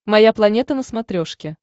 моя планета на смотрешке